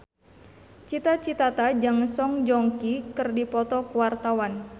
Cita Citata jeung Song Joong Ki keur dipoto ku wartawan